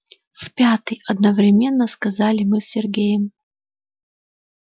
в пятый одновременно сказали мы с сергеем